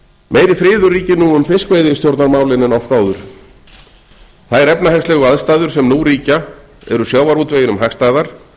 meiri friður ríkir nú um fiskveiðistjórnarmálin en oft áður þær efnahagslegu aðstæður sem nú ríkja eru sjávarútveginum hagstæðar